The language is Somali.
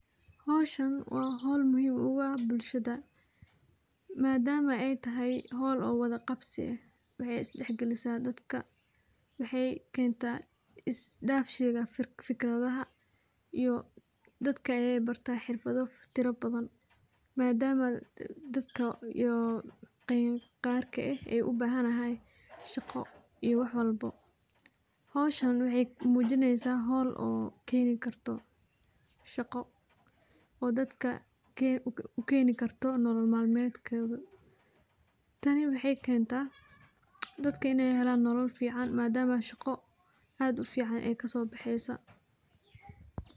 Howshan waa hol muhim uah bulshada, madam oo ay tahay hol wada qabsi ah waxay isdaxgelisa dadka, waxay kenta isdafshiga fikradaha dadka ayay barta xirfado tiro badhan, madam aa dadka qarka ah aay ubahanahy shaqo iyo waxwalbo howshani waxay mujineysa hool oo keni karto shaqo oo dadka ukeni karto nolol malmadkoda, tani waxay kenta dadka inay helan nolol fican madam oo shaqo oo aad ufican aay kasobexeyso.